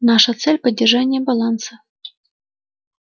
наша цель поддержание баланса